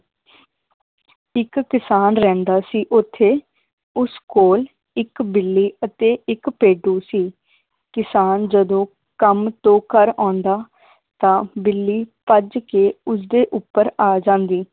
ਇਕ ਕਿਸਾਨ ਰਹਿੰਦਾ ਸੀ ਓਥੇ ਉਸ ਕੋਲ ਇੱਕ ਬਿੱਲੀ ਅਤੇ ਇੱਕ ਭੇਡੂ ਸੀ ਕਿਸਾਨ ਜਦੋਂ ਕੰਮ ਤੋਂ ਘਰ ਆਉਂਦਾ ਤਾਂ ਬਿੱਲੀ ਭੱਜ ਕੇ ਉਸ ਦੇ ਉੱਪਰ ਆ ਜਾਂਦੀ